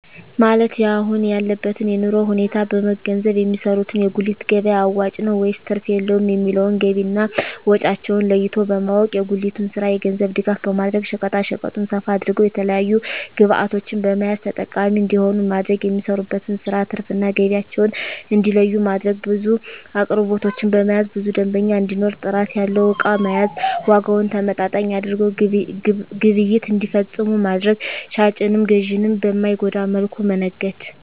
ማለት የአሁን ያለበትን የኑሮ ሁኔታ በመንገዘብ የሚሰሩት የጉሊት ገቢያ አዋጭ ነው ወይስ ትርፍ የለውም የሚለውን ገቢና ወጫቸውን ለይቶ በማወቅ። የጉሊቱን ስራ የገንዘብ ድጋፍ በማድረግ ሸቀጣሸቀጡን ሰፋ አድርገው የተለያዪ ግብዕቶችን በመያዝ ተጠቃሚ እንዲሆኑ ማድረግ። የሚሰሩበትን ስራ ትርፍ እና ገቢያቸውን እንዲለዪ ማድረግ። ብዙ አቅርቦቶችን በመያዝ ብዙ ደንበኛ እንዲኖር ጥራት ያለው እቃ መያዝ። ዋጋውን ተመጣጣኝ አድርገው ግብይት እንዲፈፅሙ ማድረግ። ሻጭንም ገዢንም በማይጎዳ መልኩ መነገድ